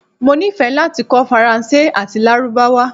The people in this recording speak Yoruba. Mo nifẹ lati kọ Faranse ati Larubawa